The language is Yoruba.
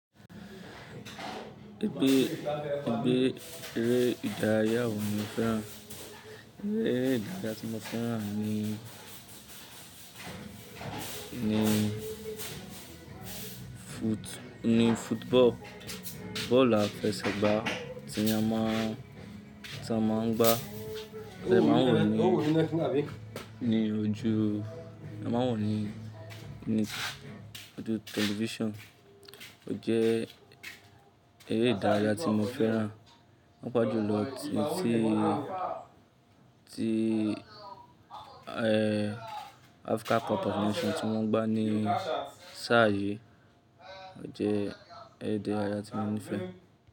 Ẹgbẹ́, ẹgbẹ́ eré ìdárayá wo ni o fẹ́ràn? Eré ìdárayá tí mo fẹ́ran ni, ni foot, ni football. Bọ́ọ̀lù afẹsẹ̀gbá tí ẹ má ń, ti a máa ń gbá, ti a máa ń wò ó ni, ní ojú, a máa ń wò ó ní, ní ojú tẹlifíṣàn. O jẹ́ eré ìdárayá tí mo fẹ́ran. Paapàjúlọ ti, ti, ti, eh, Africa Cup of Nation tí wọ́n gbá ní sáà yìí. O jẹ́ eré ìdárayá tí mo nífẹ̀ẹ́.